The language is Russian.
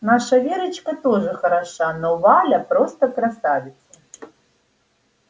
наша верочка тоже хороша но валя просто красавица